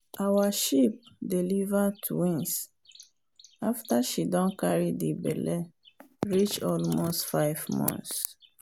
our sheep deliver twins after she don carry the belle reach almost five months.